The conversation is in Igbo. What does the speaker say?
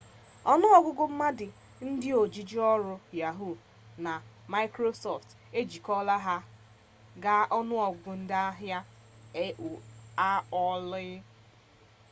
ọnụọgụgụ mmadụ ndị ojiji ọrụ yahuu! na maịkrosọftụ ejikọta ha ga- ọnụọgụgụ ndị ahịa aol